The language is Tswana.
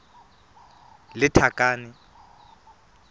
lethakane